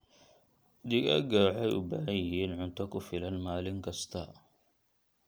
Digaagga waxay u baahan yihiin cunto ku filan maalin kasta.